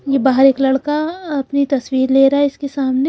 ये बहा एक लड़का अपनी तस्वीर ले रहा है इसेक सामने--